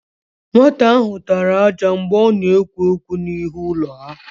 Nwata áhụ̀ tara ájá mgbe ọ na-egwu égwú n'ihu ụlọ ha.